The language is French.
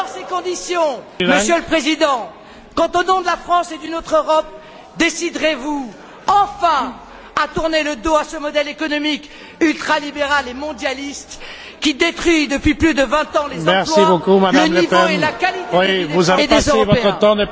Dans ces conditions, Monsieur le Président, quand, au nom de la France et d'une autre Europe, déciderez vous enfin de tourner le dos à ce modèle économique ultralibéral et mondialiste qui détruit depuis plus de vingt ans les emplois, le niveau et la qualité de vie des Français et des Européens?